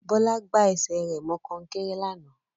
Bọ́lá gbá ẹsẹ̀ rẹ̀ mọ kọ́nkéré lánàá